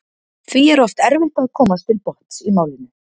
því er oft erfitt að komast til botns í málinu